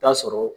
Taa sɔrɔ